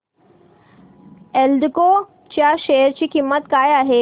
एल्डेको च्या शेअर ची किंमत काय आहे